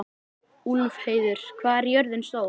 Úlfheiður, hvað er jörðin stór?